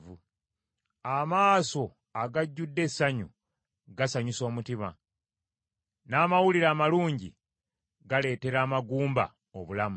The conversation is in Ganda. Amaaso agajjudde essanyu gasanyusa omutima, n’amawulire amalungi galeetera amagumba obulamu.